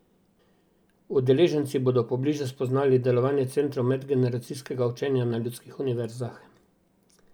Udeleženci bodo pobliže spoznali delovanje centrov medgeneracijskega učenja na Ljudskih univerzah.